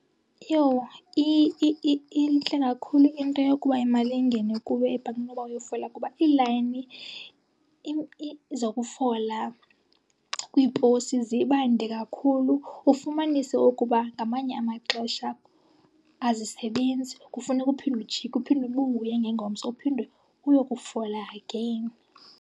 Iyo intle kakhulu into yokuba imali ingene kuwe ebhankini kunoba uyofola kuba iilayini zokufola kwiiposi zibande kakhulu. Ufumanise ukuba ngamanye amaxesha azisebenzi, kufuneke uphinde ujike uphinde ubuye ngengomso uphinde uyokufola again.